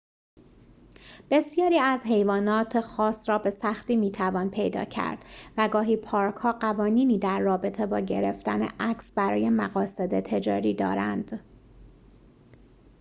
بسیاری از حیوانات خاص را به سختی می‌توان پیدا کرد و گاهی پارک‌ها قوانینی در رابطه با گرفتن عکس برای مقاصد تجاری دارند